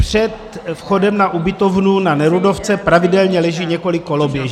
Před vchodem na ubytovnu na Nerudovce pravidelně leží několik koloběžek.